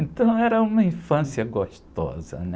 Então era uma infância gostosa, né?